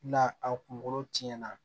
Na a kunkolo tiɲɛna